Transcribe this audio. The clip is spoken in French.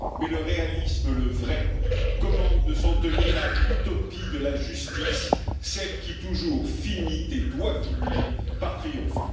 Mais le réalisme, le vrai, commande de s'en tenir à l'utopie de la justice, celle qui, toujours, finit et doit finir par triompher.